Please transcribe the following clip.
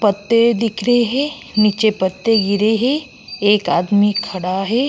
पत्ते दिख रहे हैं। नीचे पत्ते गिरे हैं। एक आदमी खड़ा है।